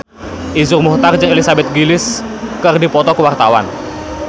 Iszur Muchtar jeung Elizabeth Gillies keur dipoto ku wartawan